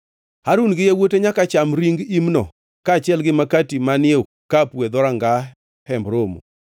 Harun gi yawuote nyaka cham ring imno kaachiel gi makati manie okapu e dhoranga Hemb Romo.